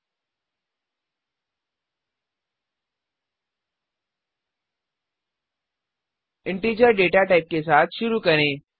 integer integer data type के साथ शुरू करें